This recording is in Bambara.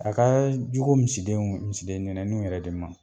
A ka jugu misiden misiden ɲɛnuw yɛrɛ de ma.